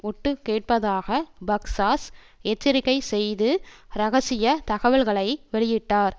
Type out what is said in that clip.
ஒட்டுக்கேட்பதாக பக்ஸாஸ் எச்சரிக்கை செய்து ரகசியத் தகவல்களை வெளியிட்டார்